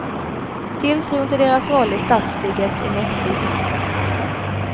Tilltron till deras roll i stadsbygget är mäktig.